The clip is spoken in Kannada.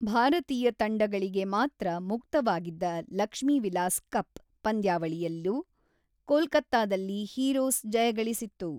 ಭಾರತೀಯ ತಂಡಗಳಿಗೆ ಮಾತ್ರ ಮುಕ್ತವಾಗಿದ್ದ ಲಕ್ಷ್ಮೀವಿಲಾಸ್ ಕಪ್ ಪಂದ್ಯಾವಳಿಯಲ್ಲೂ, ಕೋಲ್ಕತ್ತಾದಲ್ಲಿ ಹೀರೋಸ್ ಜಯಗಳಿಸಿತ್ತು.